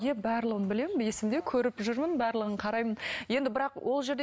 иә барлығын білемін есімде көріп жүрмін барлығын қараймын енді бірақ ол жерде